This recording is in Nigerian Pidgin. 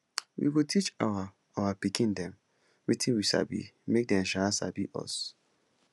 we go teach our our pikin dem wetin we sabi make dem um sabi pass us